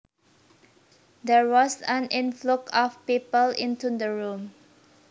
There was an influx of people into the room